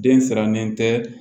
Den sirannen tɛ